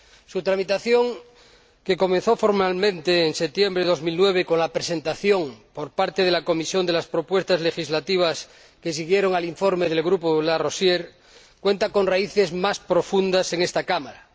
Su tramitación, que comenzó formalmente en septiembre de 2009 con la presentación por parte de la Comisión de las propuestas legislativas que siguieron al informe del grupo De Larosière, cuenta con raíces más profundas en esta Cámara.